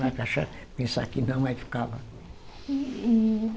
Cachaça, pensar que não aí ficava. Uhumm